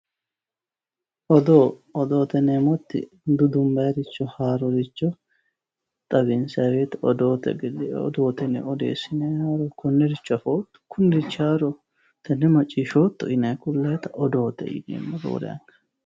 Odoo, odoote yineemmoti dudubbanniricho haaroricho xawinsanni woyte odoote odoo odeessinoni konericho afootto, kunirichi haaroho ,tenne macciishshotto yinnanni ku'lannitta odoote yineemmo roore anga.